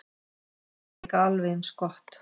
Það var líka alveg eins gott.